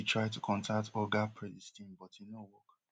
um bbc try to contact oga predestin but e no work